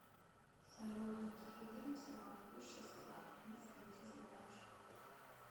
салют какие виды всемогущество мыслей ты знаешь